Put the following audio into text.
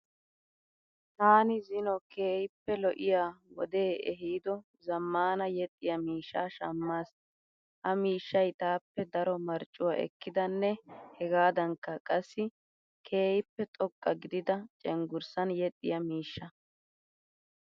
Taani zino keehippe lo'iya wodee ehiido zaammaana yexxiya miishshaa shammaas. Ha miishshayi taappe daro mariccuwa ekkidanne hegaadankka qassi keehippe xoqqa gidida cenggurssan yexxiya miishsha.